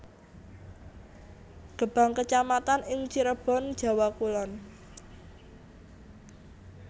Gebang kecamatan ing Cirebon Jawa Kulon